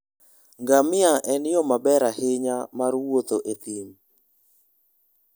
Ngamia en yo maber ahinya mar wuotho e thim.